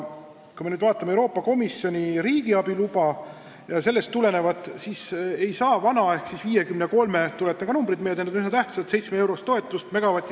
Kui me vaatame Euroopa Komisjoni riigiabiluba ja sellest tulenevat, siis näeme, et vana ehk siis 53,7-eurost toetust megavati kohta – tuletage numbrid meelde, need on tähtsad!